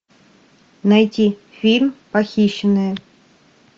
найти фильм похищенная